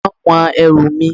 Wọ́n wọn ẹrù mi